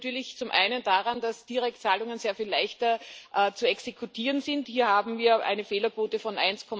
Das liegt natürlich zum einen daran, dass Direktzahlungen sehr viel leichter zu exekutieren sind hier haben wir eine Fehlerquote von